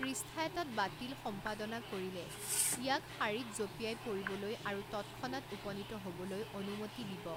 পৃষ্ঠা এটাত বাতিল সম্পাদনা কৰিলে ইয়াক শাৰীত জঁপিয়াই পৰিবলৈ আৰু তৎক্ষনাত উপনীত হ'বলৈ অনুমতি দিব।